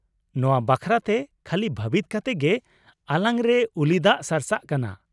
ᱱᱚᱶᱟ ᱵᱟᱠᱷᱨᱟᱛᱮ ᱠᱷᱟᱞᱤ ᱵᱷᱟᱹᱵᱤᱛ ᱠᱟᱛᱮ ᱜᱮ ᱟᱞᱟᱝ ᱨᱮ ᱩᱞᱤ ᱫᱟᱜ ᱥᱟᱨᱥᱟᱜ ᱠᱟᱱᱟ ᱾